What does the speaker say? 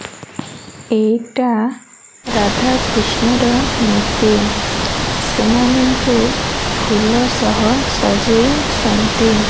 ଏଇଟା ରାଧାକୃଷ୍ଣର ମୂର୍ତ୍ତି ସେମାନଙ୍କୁ ଫୁଲସହ ସଜେଇଛନ୍ତି।